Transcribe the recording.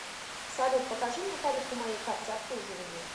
салют покажи мне тариф по моей карте обслуживания